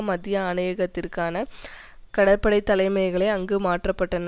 மத்திய ஆணையகத்திற்கான கடற்படை தலைமையகங்களை அங்கு மாற்றப்பட்டன